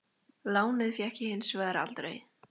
Lánið fékk ég hins vegar aldrei.